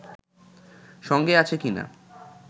সঙ্গে আছে কিনা